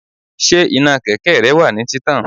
Ṣé iná kẹ̀kẹ́ rẹ wà ní títàn?